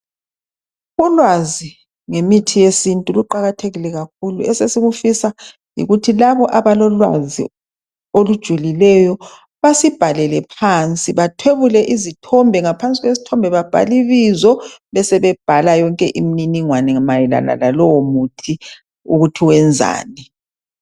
Ulwazi ngemithi yesintu luqakathekile kakhulu ,esesikufisa yikuthi labo abalolwazi olujulileyo basibhalele phansi .Bathwebule izithombe ngaphansi kwesithombe babhalibizo ,besebebhala yonke imininingwane mayelana lalowo muthi ukuthi wenzani.